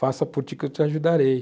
Faça por ti que eu te ajudarei.